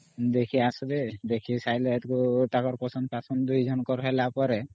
ଦେଖି ଆସିବେ ଦେଖି ସାରିଲେ ହେତକୁ ତାଙ୍କର ପସନ୍ଦ ପାସନ୍ଦ ଦୁଇ ଜଣକର ହେଲା ପରେ